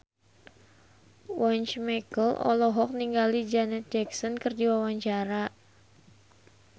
Once Mekel olohok ningali Janet Jackson keur diwawancara